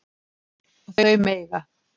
Og þau mega